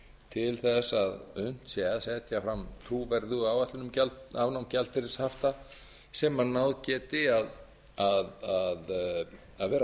til þess að unnt sé að setja fram trúverðuga áætlun um afnám gjaldeyrishafta sem náð geti að vera